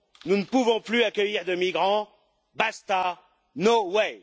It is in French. Nous ne pouvons plus accueillir de migrants. Basta No way